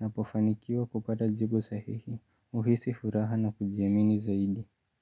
napofanikiwa kupata jibu sahihi, uhisi furaha na kujiamini zaidi.